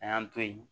A y'an to yen